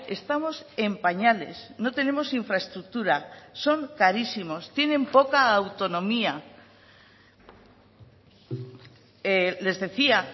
estamos en pañales no tenemos infraestructura son carísimos tienen poca autonomía les decía